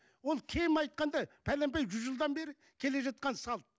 ол кем айтқанда пәленбай жүз жылдан бері келе жатқан салт